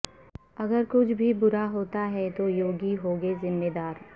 اگر کچھ بھی برا ہوتا ہے تو یوگی ہوں گے ذمہ دار